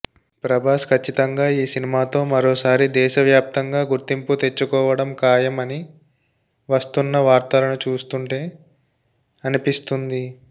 ప్రభాస్ ఖచ్చితంగా ఈ సినిమాతో మరోసారి దేశ వ్యాప్తంగా గుర్తింపు తెచ్చుకోవడం ఖాయం అని వస్తున్న వార్తలను చూస్తుంటే అనిపిస్తుంది